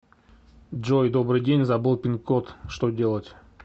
джой добрый день забыл пин код что делать